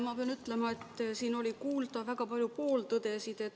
Ma pean ütlema, et siin oli kuulda väga palju pooltõdesid.